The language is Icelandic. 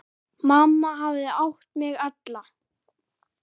Mamma hafði átt mig alla.